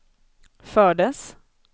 fördes